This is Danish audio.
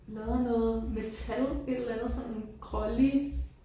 Der er noget metal et eller andet sådan grålig